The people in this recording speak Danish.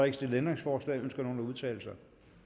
ikke stillet ændringsforslag ønsker nogen at udtale sig